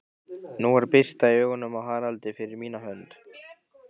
Nú var birta í augunum á Haraldi, fyrir mína hönd.